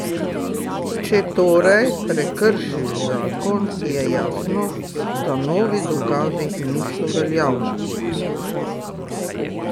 Če torej prekršiš zakon je jasno, da novi dokazi niso veljavni.